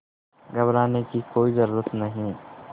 घबराने की कोई ज़रूरत नहीं